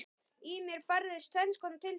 Í mér bærðust tvenns konar tilfinningar.